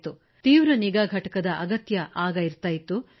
ಆಗ ಅವರಿಗೆ ತೀವ್ರ ನಿಗಾ ಘಟಕದ ಅಗತ್ಯವುಂಟಾಗುತ್ತಿತ್ತು